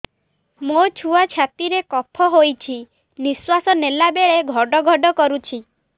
ମୋ ଛୁଆ ଛାତି ରେ କଫ ହୋଇଛି ନିଶ୍ୱାସ ନେଲା ବେଳେ ଘଡ ଘଡ କରୁଛି